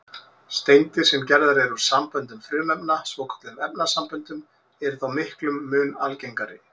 Steindir, sem gerðar eru úr samböndum frumefna, svokölluðum efnasamböndum, eru þó miklum mun algengari.